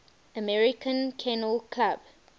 american kennel club